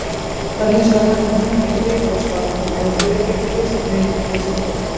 Það er hins vegar hægt að meðhöndla yfirborðsvatn þannig að öryggis neytenda sé gætt.